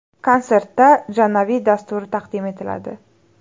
Konsertda Janavi dasturi taqdim etiladi.